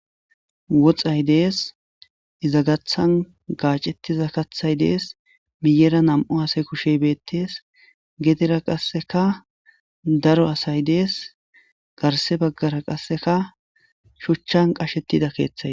woxay dees izagathan gaacettiza kathay dees miyera nam7u asay kushey beettees gedera qasseka daro asay dees garse baggara qasseka shuchchan qashettida keeththay